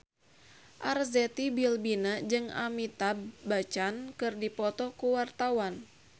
Arzetti Bilbina jeung Amitabh Bachchan keur dipoto ku wartawan